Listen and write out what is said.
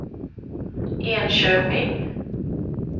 Enköping